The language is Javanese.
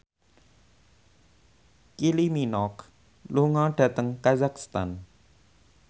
Kylie Minogue lunga dhateng kazakhstan